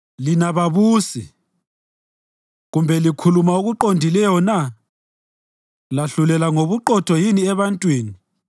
Lina babusi, kambe likhuluma okuqondileyo na? Lahlulela ngobuqotho yini ebantwini?